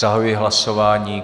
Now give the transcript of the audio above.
Zahajuji hlasování.